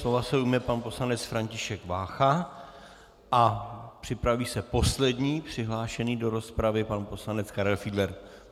Slova se ujme pan poslanec František Vácha a připraví se poslední přihlášený do rozpravy, pan poslanec Karel Fiedler.